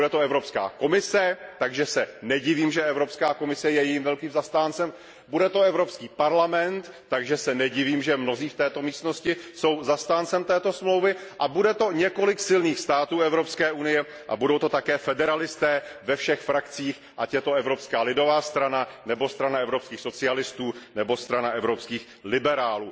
Bude to Evropská komise, takže se nedivím, že Evropské komise je jejím velkým zastáncem, bude to Evropský parlament, takže se nedivím, že mnozí v této místnosti jsou zastánci této smlouvy, a bude to několik silných států Evropské unie a budou to také federalisté ve všech frakcích, ať je to Evropská lidová strana nebo Strana evropských socialistů nebo Strana evropských liberálů.